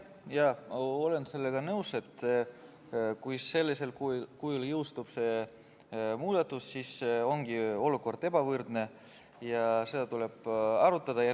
Jah, olen sellega nõus, et kui sellisel kujul see muudatus jõustub, siis ongi olukord ebavõrdne ja seda tuleb arutada.